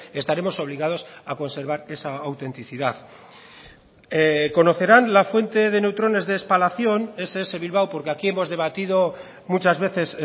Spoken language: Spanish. estaremos obligados a conservar esa autenticidad conocerán la fuente de neutrones de espalación ess bilbao porque aquí hemos debatido muchas veces